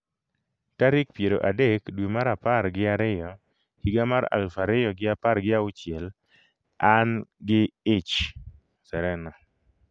tarik piero adek dwe mar apar gi ariyo higa mar aluf ariyo gi apar gi auchiel; an gi ich: Serena